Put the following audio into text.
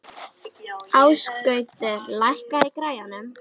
Ásgautur, lækkaðu í græjunum.